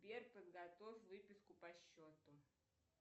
сбер подготовь выписку по счету